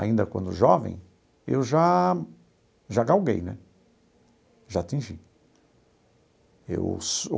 Ainda quando jovem, eu já já galguei né, já atingi eu.